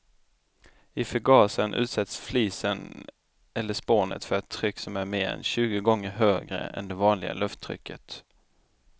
I förgasaren utsätts flisen eller spånet för ett tryck som är mer än tjugo gånger högre än det vanliga lufttrycket.